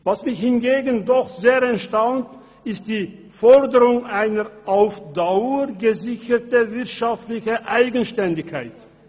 Was mich hingegen doch sehr erstaunt, ist die Forderung einer «auf Dauer» gesicherten wirtschaftlichen Eigenständigkeit.